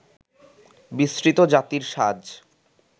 বিস্মৃত জাতির সাজ